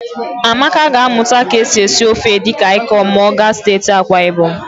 Amaka ga-amụta ka e si esi ofe edikaịkọn ma ọ gaa steeti Akwaịbọm.